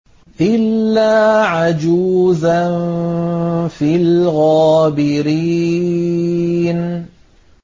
إِلَّا عَجُوزًا فِي الْغَابِرِينَ